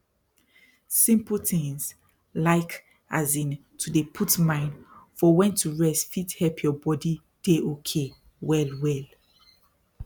simple tins like as in to dey put mind for wen to rest fit help your body dey okay well well